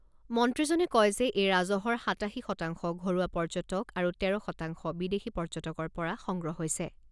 মন্ত্ৰীজনে কয় যে এই ৰাজহৰ সাতাশী শতাংশ ঘৰুৱা পৰ্যটক আৰু তেৰ শতাংশ বিদেশী পৰ্যটকৰ পৰা সংগ্ৰহ হৈছে।